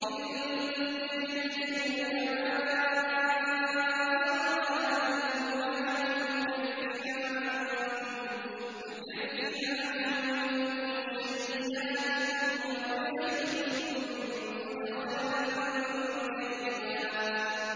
إِن تَجْتَنِبُوا كَبَائِرَ مَا تُنْهَوْنَ عَنْهُ نُكَفِّرْ عَنكُمْ سَيِّئَاتِكُمْ وَنُدْخِلْكُم مُّدْخَلًا كَرِيمًا